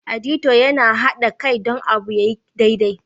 " Auditor" Yana hada Kai don abu ya yi daidai.